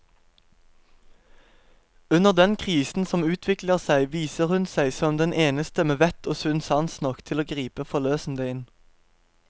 Under den krisen som utvikler seg, viser hun seg som den eneste med vett og sunn sans nok til å gripe forløsende inn.